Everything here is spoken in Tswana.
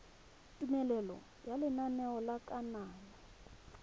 tumelelo ya lenaneo la kananyo